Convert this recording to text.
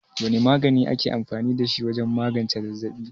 Wane magani ake amfani da shi wajen magance zazzaɓi?